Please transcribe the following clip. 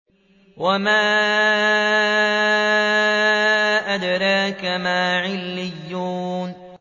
وَمَا أَدْرَاكَ مَا عِلِّيُّونَ